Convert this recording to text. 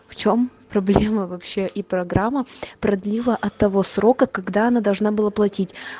в чём проблема вообще и программа продлила от того срока когда она должна была платить